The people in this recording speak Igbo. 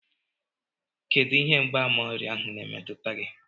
Kedụ ihe mgbaàmà ọrịa ahụ na-emetụta gị?